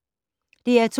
DR2